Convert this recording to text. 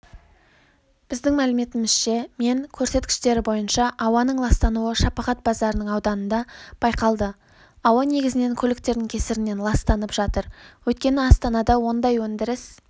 біздің мәліметімізше мен көрсеткіштері бойынша ауаның ластануы шапағат базарының ауданында байқалды ауа негізінен көліктердің кесірінен ластанып жатыр өйткені астанада ондай өндіріс